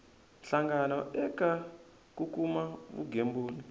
hlangano eka ku kuma vugembuli